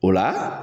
O la